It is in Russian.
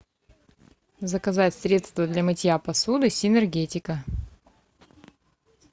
заказать средство для мытья посуды синергетика